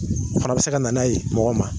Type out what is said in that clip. fana bɛ se ka nan'a ye mɔgɔ ma